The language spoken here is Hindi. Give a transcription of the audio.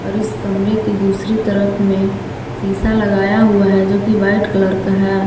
और इस कमरे के दूसरी तरफ में शिशा लगाया हुआ है जोकि वाइट कलर का है।